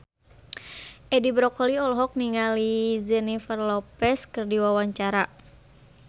Edi Brokoli olohok ningali Jennifer Lopez keur diwawancara